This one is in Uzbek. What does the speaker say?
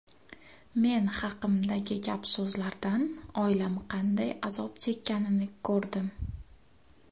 Men haqimdagi gap-so‘zlardan oilam qanday azob chekkanini ko‘rdim.